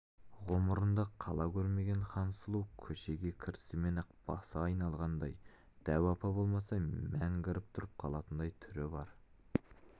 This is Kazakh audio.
ғұмырында қала көрмеген хансұлу көшеге кірісімен-ақ басы айналғандай дәу апа болмаса мәңгіріп тұрып қалатындай түрі бар